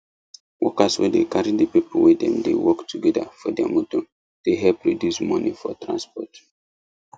workers wey dey carry the people wey dem dey work together for their motor dey help reduce money for transport